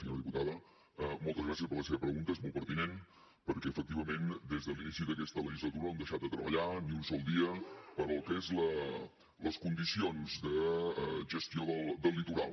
senyora diputada moltes gràcies per la seva pregunta és molt pertinent perquè efectivament des de l’inici d’aquesta legislatura no hem deixat de treballar ni un sol dia pel que són les condicions de gestió del litoral